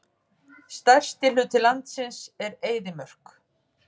Stærsti hluti landsins er eyðimörk.